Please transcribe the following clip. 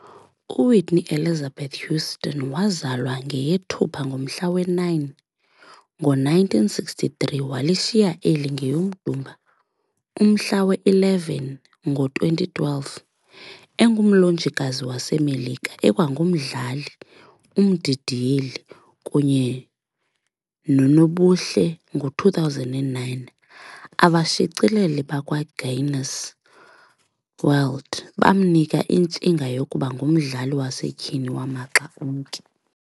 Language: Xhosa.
UWhitney Elizabeth Houston, wazalwa ngeyeThupha ngomhla we-9, ngo-1963 - walishiya eli ngeyoMdumba umhla we-11, ngo2012, engumlonjikazi waseMelika, ekwangumdlali, umdidiyeli, kunyenonobuhle. Ngo2009, Abashicileli bakwaGuinness World, bamnika intshinga yokuba ngumdlali wasetyhini wamaxa onke.